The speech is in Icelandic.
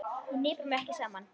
Ég hnipra mig ekki saman.